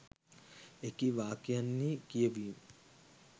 එකී වාක්‍යයන්හි කියවීම්